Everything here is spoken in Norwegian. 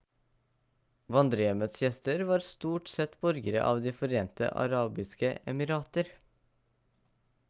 vandrerhjemmets gjester var stort sett borgere av de forente arabiske emirater